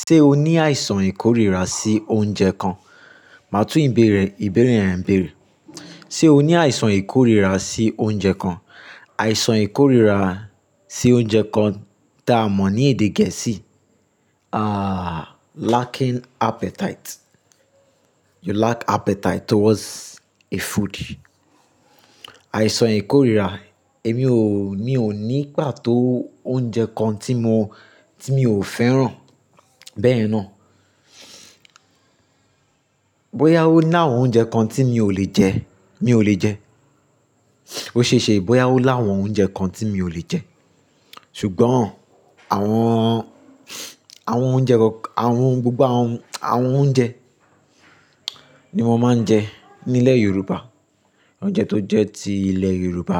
Ṣé o ní àìsàn ìkóríra sí oúnjẹ kan? Màá tún ìbéèrè ìbéèrè yẹn béèrè. Ṣé o ní àìsàn ìkóríra sí oúnjẹ kan? Àìsàn ìkóríra sí oúnjẹ kan tá a mọ̀ ní èdè gẹ̀ẹ́sì, ah, lacking appetite. You lack appetite towards a food. Àìsàn ìkóríra, èmi ò, mi ò ní pàtó oúnjẹ kan tí mo, tí mi ò fẹ́ràn bẹ́ẹ̀ ná. Bóyá ó láwọn oúnjẹ kan tí mi ò lè jẹ, mi ò lè jẹ. Ó ṣeé ṣe bóyá ó láwọn oúnjẹ kan tí mi ò lè jẹ. Ṣùgbọ́n àwọn, àwọn oúnjẹ kọn, àwọn gbogbo àwọn, àwọn oúnjẹ ní mo máa ń jẹ nílẹ̀ Yorùbá. Oúnjẹ tó jẹ́ ti ilẹ̀ Yorùbá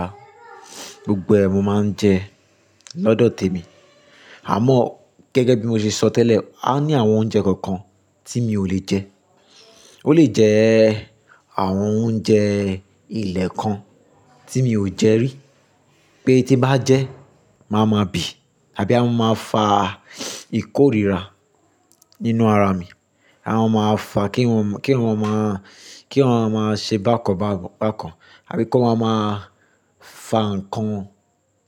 gbogbo ẹ, mo máa ń jẹ lọ́dọ̀ tèmi. Àmọ́ gẹ́gẹ́ bí mo ṣe sọ tẹ́lẹ̀, a ní àwọn oúnjẹ kọ̀ọ̀kan tí mi ò lè jẹ. Ó lè jẹ́ àwọn oúnjẹ ilẹ̀ kan tí mi ò jẹ rí pé tí bá jẹ́, màá ma bì àbí a máa fa ìkóríra nínú ara mi. Àwọn máa fà kí eyan, kí eyan máa, kí eyan máa ṣe bákan bákan bákan àbí kó máa má fa ǹkan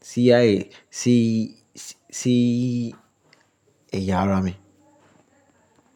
sí ayé, sí, sí ẹ̀yà ara mi.